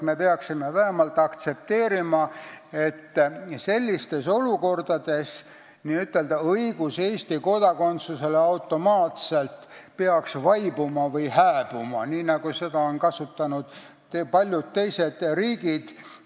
Meil tuleks vähemalt aktsepteerida, et sellistes olukordades peaks automaatne õigus Eesti kodakondsusele vaibuma või hääbuma, nagu on läinud paljudes teistes riikides.